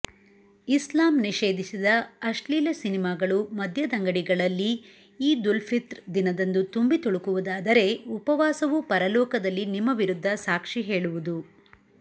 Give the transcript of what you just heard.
ಇಸ್ಲಾಂ ನಿಷೇಧಿಸಿದ ಅಶ್ಲೀಲ ಸಿನಿಮಗಳು ಮದ್ಯದಂಗಡಿಗಳಲ್ಲೀ ಈದುಲ್ಫಿತ್ರ್ ದಿನದಂದು ತುಂಬಿತುಳುಕುವುದಾದರೆ ಉಪವಾಸವೂ ಪರಲೋಕದಲ್ಲಿ ನಿಮ್ಮ ವಿರುಧ್ದ ಸಾಕ್ಷಿ ಹೇಳುವುದು